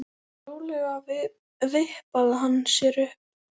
Rólega vippaði hann sér upp.